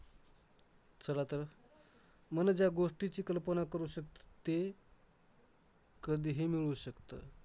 चला तर. मन ज्या गोष्टीची कल्पना करू शकतं ते कधीही मिळवू शकतं.